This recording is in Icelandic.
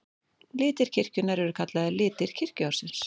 Litir kirkjunnar eru kallaðir litir kirkjuársins.